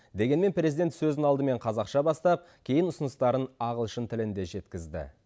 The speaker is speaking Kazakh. дегенмен президент сөзін алдымен қазақша бастап кейін ұсыныстарын ағылшын тілінде жеткізді